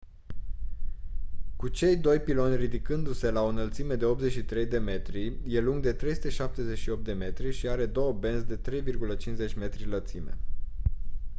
cu cei doi piloni ridicându-se la o înălțime de 83 de metri e lung de 378 de metri și are două benzi de 3,50 m lățime